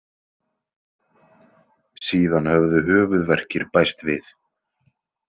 Síðan höfðu höfuðverkir bæst við.